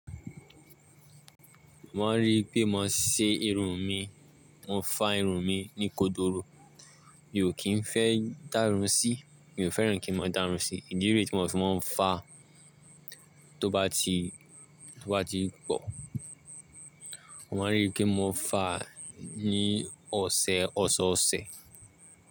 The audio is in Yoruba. Mo máa ń rí pé mo ṣe irun mi, mo fa irun mi ní kodoro. Mi ò kí ń fẹ́ dá irun sí, mi ò fẹ́ràn kí n máa dá irun sí. Ìdí rẹ̀ tí mo fi máa ń fà, tó bá ti pọ̀, mo máa ń rí pé mo fà ní ọ̀sẹ̀ ọ̀sọ̀ọ̀sẹ̀.